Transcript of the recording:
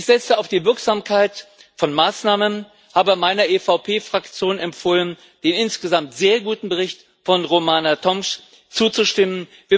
Ich setze auf die Wirksamkeit von Maßnahmen und habe meiner EVP Fraktion empfohlen, dem insgesamt sehr guten Bericht von Romana Tomc zuzustimmen.